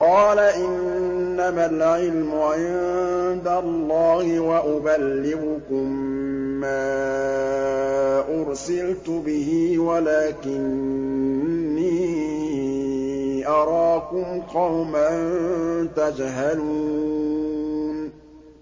قَالَ إِنَّمَا الْعِلْمُ عِندَ اللَّهِ وَأُبَلِّغُكُم مَّا أُرْسِلْتُ بِهِ وَلَٰكِنِّي أَرَاكُمْ قَوْمًا تَجْهَلُونَ